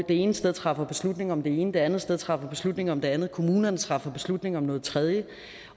ene sted træffer beslutning om det ene det andet sted træffer beslutning om det andet kommunerne træffer beslutning om noget tredje